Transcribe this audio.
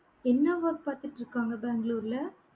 என்ன work பார்த்திட்டிருக்காங்க பெங்களூர்ல